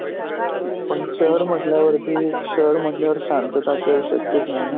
पण शहर म्हटल्यावरती शहर म्हटल्यावर शांतता असे शक्यच नाही न